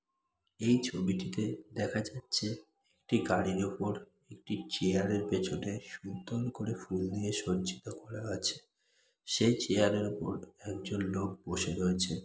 এই ছবিটিতে দেখা যাচ্ছে একটি গাড়ির উপর একটি চেয়ার -এর পেছনে সুন্দর করে ফুল দিয়ে সজ্জিত করা আছে। সেই চেয়ার - এর উপর একজন লোক বসে রয়েছেন।